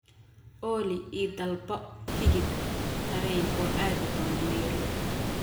olly i dalbo tigidh tareen oo aadi doono nairobi